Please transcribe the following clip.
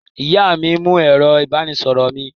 Ìyá mi mú ẹ̀rọ-ìbánisọ̀rọ̀ mi.